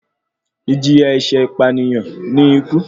Ìjìyà ẹ̀ṣẹ̀ ìpànìyàn ní ikú.